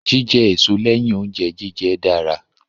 Jíjẹ èso lẹ́yìn oúnjẹ jíjẹ dára.